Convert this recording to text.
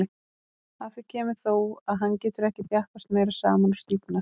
Að því kemur þó, að hann getur ekki þjappast meira saman og stífnar.